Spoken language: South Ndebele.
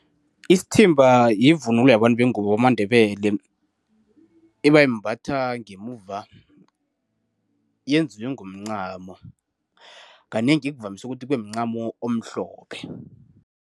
Isithimba yivunulo yabantu bengubo bamaNdebele. Ebayimbatha ngemuva. Yenziwe ngomncamo. Kanengi kuvamise ukuthi kube mncamo omhlophe.